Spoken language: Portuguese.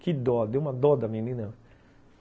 Que dó, deu uma dó da menina.